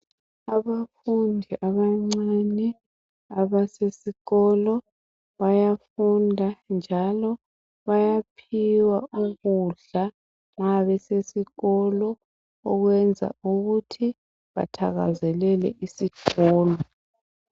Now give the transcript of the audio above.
Abafundi abancane abasesikolo bayafunda njalo bayaphiwa ukudla nxa besesikolo, okwenza ukuthi bathakazelele isikolo